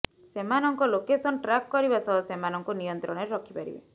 ସେମାନଙ୍କ location track କରିବା ସହ ସେମାନଙ୍କୁ ନିୟନ୍ତ୍ରଣରେ ରଖି ପାରିବେ